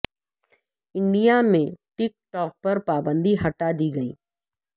India میں TikTok پر پابندی ہٹا دی گئی